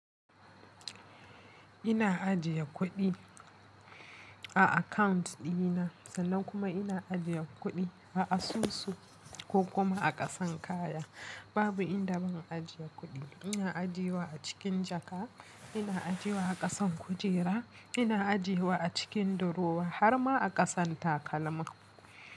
Ina ajiye kuɗi a account ɗina, sannan kuma ina ajiye kuɗi a asusu, ko kuma a ƙasan kaya. Babu inda ban ajiye kuɗi. Ina ajiyewa a cikin jaka, ina ajiyewa a ƙasan kujera, ina ajiyewa a cikin durowa, har ma a ƙasan takalma.